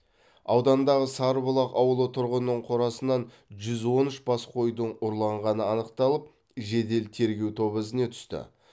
аудандағы сарыбұлақ ауылы тұрғынының қорасынан жүз он үш бас қойдың ұрланғаны анықталып жедел тергеу тобы ізіне түсті